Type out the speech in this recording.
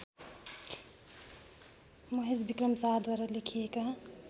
महेशविक्रम शाहद्वारा लेखिएका